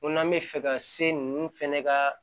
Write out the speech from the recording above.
Ko n'an bɛ fɛ ka se ninnu fɛnɛ ka